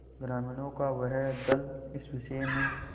ग्रामीणों का वह दल इस विषय में